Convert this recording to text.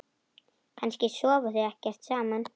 Kannski sofa þau ekkert saman?